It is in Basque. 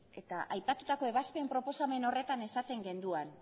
eta aipatutako ebazpen proposamen horretan esaten genuen